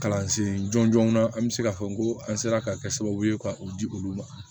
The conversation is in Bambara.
Kalansen jɔn jɔnna an bɛ se k'a fɔ n ko an sera ka kɛ sababu ye ka o di olu ma